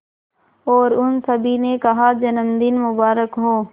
और उन सभी ने कहा जन्मदिन मुबारक हो